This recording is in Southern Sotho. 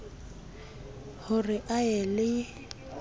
ho re a ye le